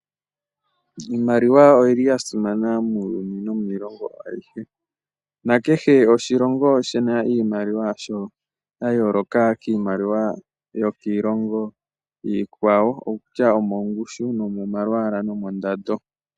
Iimaliwa oya simana muuyuni nomiilongo ayihe. Kehe oshilongo oshi na iimaliwa yasho ya yooloka kiimaliwa yokiilongo iikwawo kutya omomalwaala, omongushu nomondando.